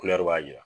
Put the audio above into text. b'a jira